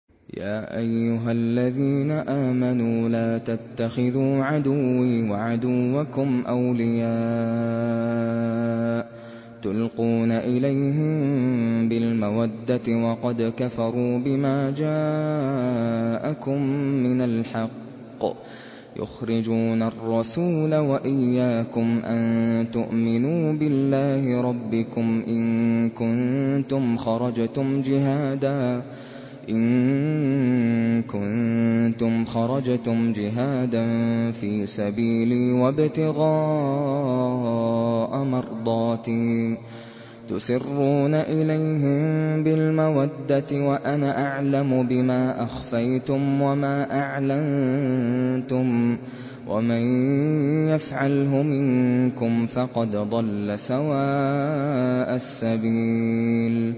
يَا أَيُّهَا الَّذِينَ آمَنُوا لَا تَتَّخِذُوا عَدُوِّي وَعَدُوَّكُمْ أَوْلِيَاءَ تُلْقُونَ إِلَيْهِم بِالْمَوَدَّةِ وَقَدْ كَفَرُوا بِمَا جَاءَكُم مِّنَ الْحَقِّ يُخْرِجُونَ الرَّسُولَ وَإِيَّاكُمْ ۙ أَن تُؤْمِنُوا بِاللَّهِ رَبِّكُمْ إِن كُنتُمْ خَرَجْتُمْ جِهَادًا فِي سَبِيلِي وَابْتِغَاءَ مَرْضَاتِي ۚ تُسِرُّونَ إِلَيْهِم بِالْمَوَدَّةِ وَأَنَا أَعْلَمُ بِمَا أَخْفَيْتُمْ وَمَا أَعْلَنتُمْ ۚ وَمَن يَفْعَلْهُ مِنكُمْ فَقَدْ ضَلَّ سَوَاءَ السَّبِيلِ